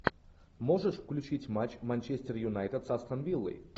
можешь включить матч манчестер юнайтед с астон виллой